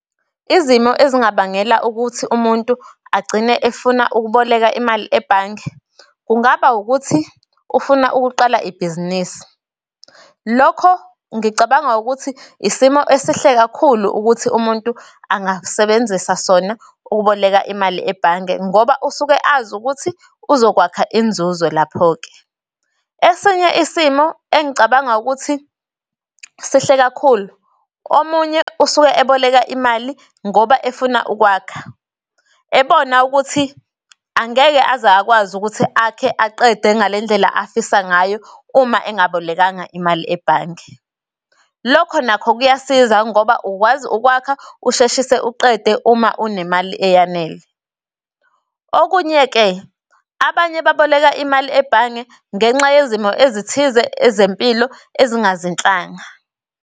Izimo ezingabangela ukuthi umuntu agcine efuna ukuboleka imali ebhange, kungaba ukuthi ufuna ukuqala ibhizinisi. Lokho ngicabanga ukuthi isimo esihle kakhulu ukuthi umuntu angasebenzisa sona ukuboleka imali ebhange, ngoba usuke azi ukuthi uzokwakha inzuzo lapho-ke. Esinye isimo engicabanga ukuthi sihle kakhulu, omunye usuke eboleka imali, ngoba efuna ukwakha. Ebona ukuthi angeke aze akwazi ukuthi akhe aqede ngalendlela afisa ngayo, uma engabolekanga imali ebhange. Lokho nakho kuyasiza ngoba ukwazi ukwakha, usheshise uqede uma unemali eyanele. Okunye-ke abanye baboleka imali ebhange ngenxa yezimo ezithize ezempilo ezingazinhlanga.